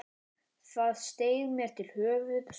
Það steig mér til höfuðs.